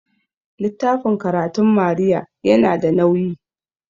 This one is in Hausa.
littafin karatun Maria yana da nauyi